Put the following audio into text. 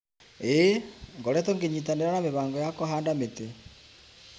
ĩĩ, ngoretwo ngĩnyitanĩra na mĩbango ya kũhanda mĩtĩ.